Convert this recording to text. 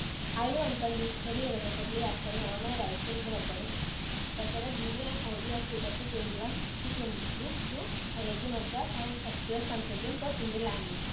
Speaker 1 I do unconditionally irrevocably assign all my rights in the recording recorded video and audio of two thousand twenty one to twenty two to I I T Madras and the S two S consortium for Indian languages.